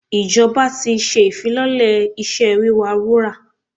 Ìjọba ti ṣe ìfilọ́lẹ̀ iṣẹ́ wíwa wúrà.